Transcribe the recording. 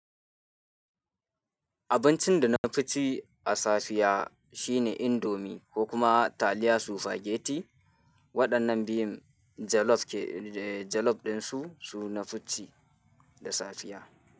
Abincin da na fi ci a safiya shine indomi ko kuma taliya sufageti. Waɗannan biyun jalof ke, jalof ɗinsu su na fi ci da safiya.